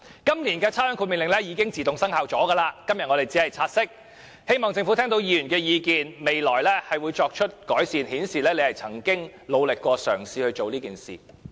今年的差餉豁免令已自動生效，我們今天只是察悉，但仍希望政府聽到議員的意見，在未來作出改善，以顯示政府亦曾努力嘗試過。